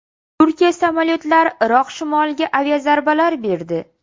Turkiya samolyotlari Iroq shimoliga aviazarbalar berdi.